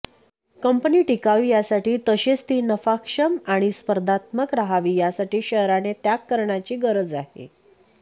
company टिकावी यासाठी तसेच ती नफाक्षम आणि स्पर्धात्मक राहावी यासाठी शहराने त्याग करण्याची गरज आहे